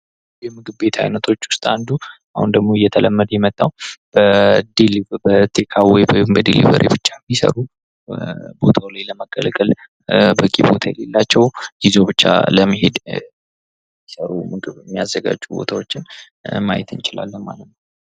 ከምግብ ቤት አይነቶች ውስጥ አንዱ አሁን ላይ ደግሞ እየተለመደ የመጣው 'በቴካአዌይ' ብቻ የሚሰሩ፥ ቦታው ላይ ለመገልገል በቂ ቦታ የሌላቸው፥ ይዞ ብቻ ለመሄድ የሚያዘጋጁ ቦታዎችን ማየት እንችላለን ማለት ነው።